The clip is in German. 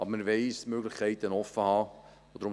Aber wir wollen uns Möglichkeiten offenhalten.